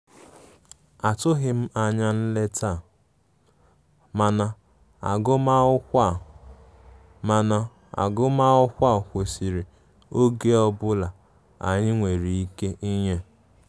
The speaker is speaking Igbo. Atụghim anya nleta a, mana agụmakwukwọ a, mana agụmakwukwọ kwesiri oge ọbụla anyi nwere ike nye